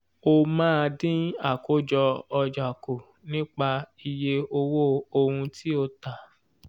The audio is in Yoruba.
o máa dín àkójọ ọjà kù nípa iye owó ohun tí o tà.